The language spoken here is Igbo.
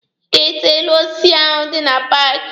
Ị ga-ete elu osisi ahụ dị na paaki!